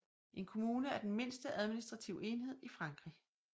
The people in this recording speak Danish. En kommune er den mindste administrative enhed i Frankrig